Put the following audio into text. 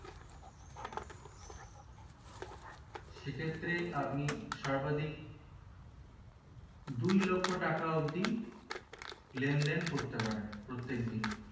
সেক্ষেত্রে আপনি সর্বাধিক দুই লক্ষ্য টাকা অবদি লেনদেন করতে পারেন প্রত্যেকদিন